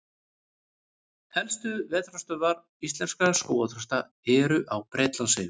Helstu vetrarstöðvar íslenskra skógarþrasta eru á Bretlandseyjum.